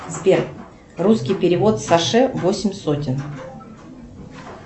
сбер русский перевод саше восемь сотен